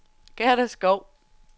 Gerda Schou